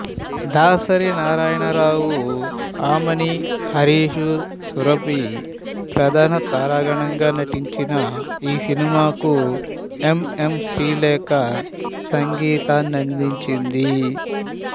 దాసరి నారాయణరావు ఆమని హరీష్ సురభి ప్రధాన తారాగణం గా నటించిన ఈ సినిమాకు ఎం ఎం శ్రీలేఖ సంగీతాన్నందించింది